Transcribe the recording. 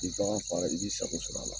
Nin fɛn o fɛn nan i b'i sago sɔrɔ a la.